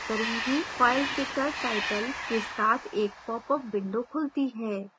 file picker title के साथ एक popअप window खुलती है